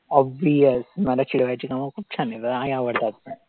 Obvious चिडवायची कामं खूप छान येतात आणि आवडतात पण.